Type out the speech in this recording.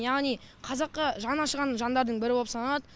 яғни қазаққа жаны ашыған жандардың бірі боп саналады